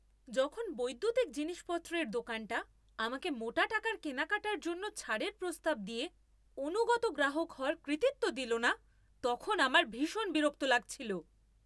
যখন বৈদ্যুতিক জিনিসপত্রের দোকানটা আমাকে মোটা টাকার কেনাকাটার জন্য ছাড়ের প্রস্তাব দিয়ে অনুগত গ্রাহক হওয়ার কৃতিত্ব দিল না, তখন আমার ভীষণ বিরক্ত লাগছিল।